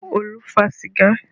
Olu fa sìgá